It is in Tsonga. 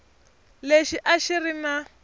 lexi a xi ri na